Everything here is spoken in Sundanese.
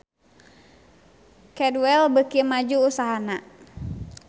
Cadwell beuki maju usahana